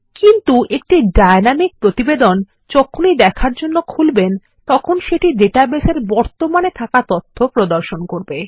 কিন্তু একটা ডায়নামিক প্রতিবেদন যখনইদেখার জন্য খুলবেন তখন সেটিডাটাবেস এ বর্তমানেথাকাতথ্য প্রদর্শন করবে